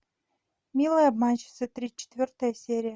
милая обманщица тридцать четвертая серия